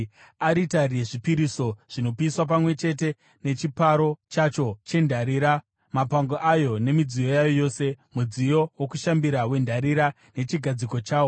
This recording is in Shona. aritari yezvipiriso zvinopiswa pamwe chete nechiparo chacho chendarira, mapango ayo nemidziyo yayo yose; mudziyo wokushambira wendarira nechigadziko chawo;